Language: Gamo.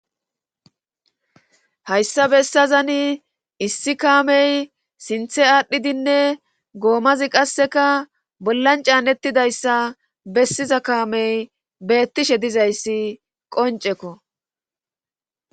hayssa bessazani issi kaamey sinthe aadhdhidinne goomazi qasseka bollan caanettidayssa bessiza kaamey beettishe dizayssi qoncekko